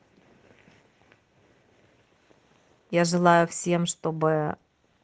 я желаю всем чтобы